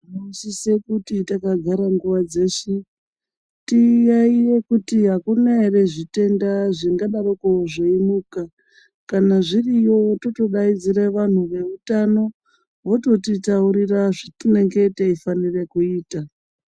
Tinosise kuti takagara nguwa dzeshe, tiyaiye kuti akuna ere zvitenda zvingadaroko zveimuka. Kana zviriyo, totodaidzire vanhu veutano, vototitaurira zvetinenge teifanira kuita .